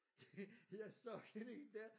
Jeg så hende ikke der